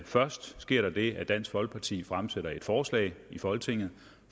først sker der det at dansk folkeparti fremsætter et forslag i folketinget